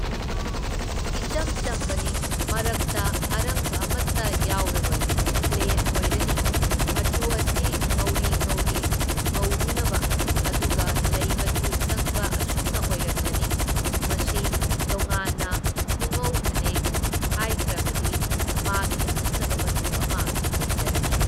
ꯏꯆꯝ ꯆꯝꯕꯅꯤ, ꯃꯔꯛꯇ ꯑꯔꯪꯕ ꯑꯃꯇ ꯌꯥꯎꯔꯔꯣꯏ, ꯄ꯭ꯂꯦꯟ ꯑꯣꯏꯔꯅꯤ, ꯃꯆꯨ ꯑꯁꯤ ꯉꯧꯔꯤ ꯉꯧꯔꯤ ꯉꯧꯔꯨꯅꯕ ꯑꯗꯨꯒ ꯂꯩ ꯃꯆꯨ ꯆꯪꯕ ꯑꯁꯨꯝꯅ ꯑꯣꯏꯔꯛꯂꯅꯤ, ꯃꯁꯤ ꯇꯣꯉꯥꯟꯅ ꯄꯨꯉꯧ ꯐꯅꯦꯛ ꯍꯥꯏꯈ꯭ꯔꯕꯗꯤ ꯃꯥꯒꯤ ꯑꯈꯟꯅꯕ ꯃꯆꯨ ꯑꯃ ꯂꯩꯖꯔꯅꯤ꯫